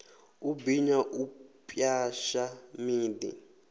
u binya u pwasha miḓi